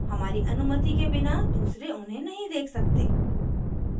हमारी अनुमति के बिना दूसरे उन्हें नहीं देख सकते